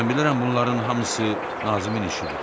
Mən bilirəm bunların hamısı Nazimin işidir.